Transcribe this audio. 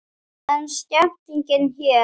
Er stemming hér?